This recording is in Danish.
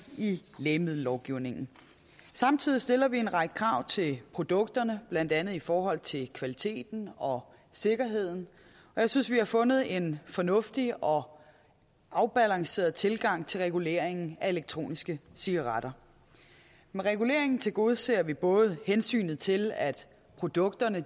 lægemiddellovgivningen samtidig stiller vi en række krav til produkterne blandt andet i forhold til kvaliteten og sikkerheden jeg synes vi har fundet en fornuftig og afbalanceret tilgang til reguleringen elektroniske cigaretter med reguleringen tilgodeser vi både hensynet til at produkterne